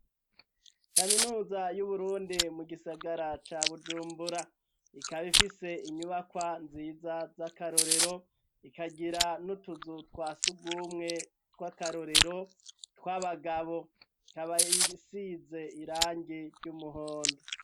Kaminuza y'uburundi mu gisagara ca bujumbura ikabifise inyubakwa nziza z'akarorero ikagira n'utuzu twa sugumwe tw'akarorero tw'abagabo tabayisize irangi ry'umuhondo.